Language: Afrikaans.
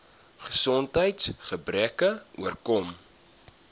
gesondheids gebreke oorkom